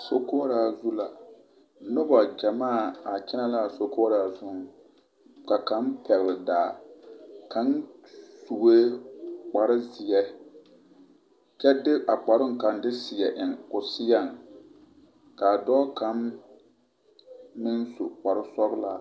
Sokoɔraa zu la, noba gyɛmaa a kyɛnɛ la a sokoɔraa zuŋ ka kaŋ pɛgele daa kaŋ sue kpare zeɛ kyɛ de a kparoŋ kaŋa de seɛ eŋ o seɛŋ k'a dɔɔ kaŋ meŋ su kpare sɔgelaa.